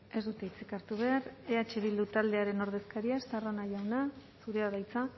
ez dute hitzik hartu behar eh bildu taldearen ordezkaria estarrona jauna zurea da hitza